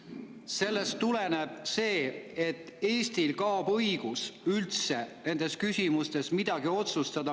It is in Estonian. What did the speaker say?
Sellest tuleneb, et Eestil kaob üldse õigus nendes küsimustes midagi otsustada.